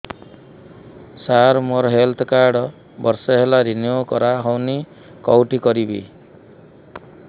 ସାର ମୋର health card ବର୍ଷେ ହେଲା ରିନିଓ କରା ହଉନି କଉଠି କରିବି